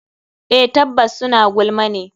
Eh tabbas suna gulma ne.